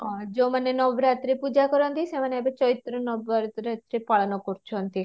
ହଁ, ଯଉ ମାନେ ନବରାତ୍ରି ପୂଜା କରନ୍ତି ସେମାନେ ଏବେ ଚୈତ୍ର ନବରାତ୍ରି ଏଥିରେ ପାଳନ କରୁଛନ୍ତି